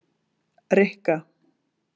Rikka